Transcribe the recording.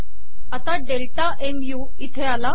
आता डेल्टा मु इथे आला